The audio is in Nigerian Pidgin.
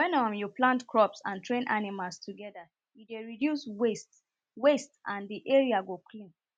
wen um you plant crops and train animals together e dey reduce waste waste and the area go clean